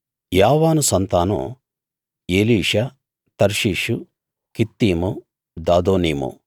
యావాను సంతానం Elishah Tarshish Kittim Dodanim